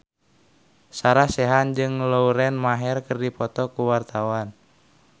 Sarah Sechan jeung Lauren Maher keur dipoto ku wartawan